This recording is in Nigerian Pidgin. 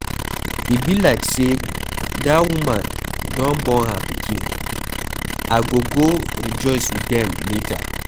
E be like say dat woman don born her pikin. I go go rejoice with dem later.